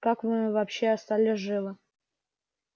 как мы вообще остались живы